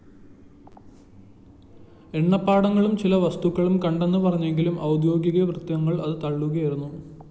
എണ്ണപ്പാടകളും ചില വസ്തുക്കളും കണ്ടെന്നു പറഞ്ഞെങ്കിലും ഔദ്യോഗികവൃത്തങ്ങള്‍ അതു തള്ളിയിരുന്നു